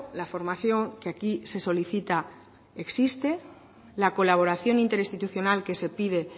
la formación que aquí se solicita existe la colaboración interinstitucional que se pide